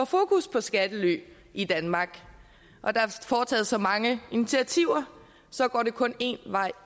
fokus på skattely i danmark og der er foretaget så mange initiativer så går det kun en vej